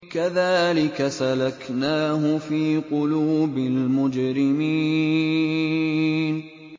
كَذَٰلِكَ سَلَكْنَاهُ فِي قُلُوبِ الْمُجْرِمِينَ